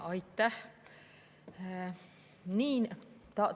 Aitäh!